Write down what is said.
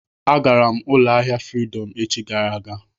Agara m ụlọ ahịa Fridọm echi gara aga.